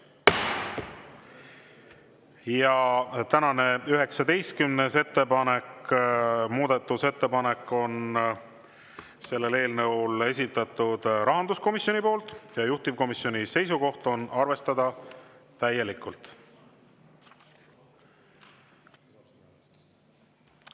Ja tänase 19. muudatusettepaneku selle eelnõu kohta on esitanud rahanduskomisjon, juhtivkomisjoni seisukoht on arvestada täielikult.